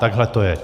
Takhle to je.